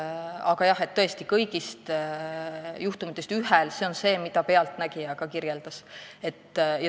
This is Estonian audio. Aga jah, me räägime ühest juhtumist ja see on see, mida ka "Pealtnägija" kirjeldas.